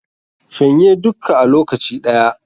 Shan ye dukka a lokaci ɗaya